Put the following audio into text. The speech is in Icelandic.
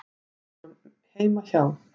Við vorum heima hjá